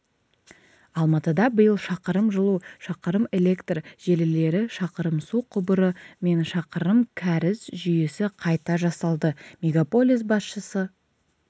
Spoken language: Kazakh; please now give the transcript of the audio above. алматыда биыл шақырым жылу шақырымэлектр желілері шақырымсу құбыры мен шақырым кәріз жүйесі қайта жасалды мегаполис басшысы